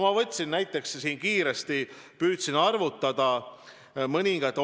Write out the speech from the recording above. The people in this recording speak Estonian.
Ma võtsin näiteks mõningad omavalitsused ja püüdsin kiiresti arvutada.